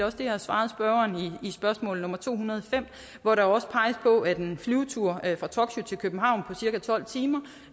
også det jeg har svaret spørgeren i spørgsmål to hundrede og fem hvor der også peges på at en flyvetur fra tokyo til københavn på cirka tolv timer